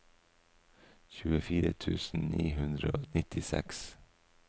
tjuefire tusen ni hundre og nittiseks